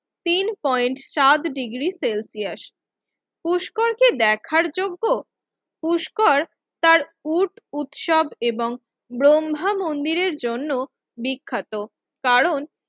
তিন পয়েন্ট চার degree Celsius Pushkar কি দেখার যোগ্য? পুষ্কর তার উট উৎসব এবং ব্রহ্মা মন্দিরের জন্য বিখ্যাত কারণ